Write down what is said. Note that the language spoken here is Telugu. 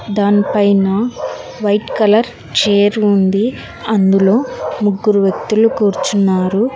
దాని పైన వైట్ కలర్ చేయిర్ ఉంది అందులో ముగ్గురు వ్యక్తులు కూర్చున్నారు.